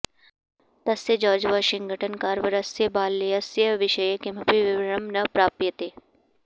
तस्य George Washington कार्वरस्य बाल्यस्य विषये किमपि विवरणं न प्राप्यते